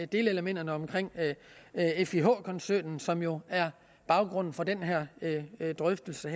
delelementerne omkring fih koncernen som jo er baggrunden for den her drøftelse